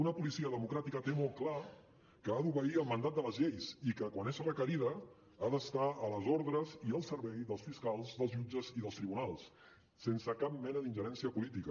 una policia democràtica té molt clar que ha d’obeir el mandat de les lleis i que quan és requerida ha d’estar a les ordres i al servei dels fiscals dels jutges i dels tribunals sense cap mena d’ingerència política